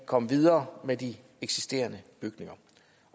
komme videre med de eksisterende bygninger